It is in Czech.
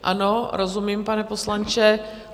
Ano, rozumím, pane poslanče.